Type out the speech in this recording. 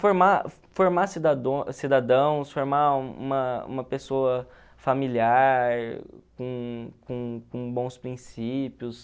Formar formar cidadãos, formar uma uma pessoa familiar, com com com bons princípios.